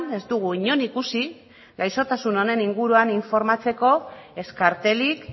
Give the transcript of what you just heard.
ez dugu inon ikusi gaixotasun honen inguruan informatzeko ez kartelik